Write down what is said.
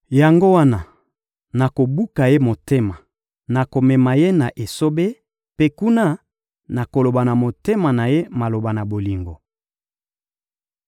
Yango wana, nakobuka ye motema, nakomema ye na esobe; mpe kuna, nakoloba na motema na ye maloba na bolingo.